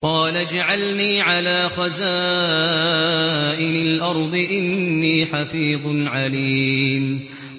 قَالَ اجْعَلْنِي عَلَىٰ خَزَائِنِ الْأَرْضِ ۖ إِنِّي حَفِيظٌ عَلِيمٌ